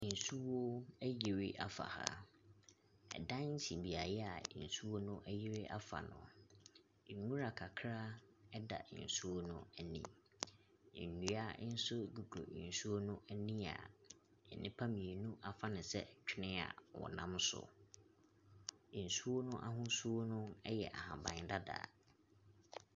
Nsuo ayiri afa ha, ɛdan si Beaɛ nsuo no ayiri afa no, nwura kakra ɛda nsuo no ani nnua nso gugu nsuo no ani a nnipa mmienu afa no sɛ twenee a ɔnam so. Nsuo no ahosuo no yɛ ahaban dada.